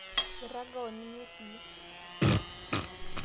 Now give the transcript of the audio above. irraga oninye sii